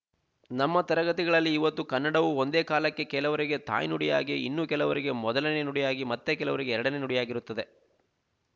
ನಮ್ಮ ತರಗತಿಗಳಲ್ಲಿ ಇವತ್ತು ಕನ್ನಡವು ಒಂದೇಕಾಲಕ್ಕೆ ಕೆಲವರಿಗೆ ತಾಯ್ನುಡಿಯಾಗಿ ಇನ್ನು ಹಲವರಿಗೆ ಮೊದಲನೇ ನುಡಿಯಾಗಿ ಮತ್ತೆ ಕೆಲವರಿಗೆ ಎರಡನೇ ನುಡಿಯಾಗಿರುತ್ತದೆ